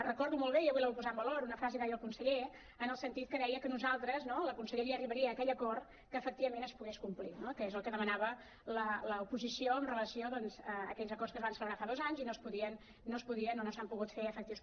recordo molt bé i avui la vull posar en valor una frase que va dir el conseller en el sentit que deia que nosaltres la conselleria arribaria a aquell acord que efectivament es pogués complir no que és el que demanava l’oposició amb relació doncs a aquells acords que es van celebrar fa dos anys i no es podien o no s’han pogut fer efectius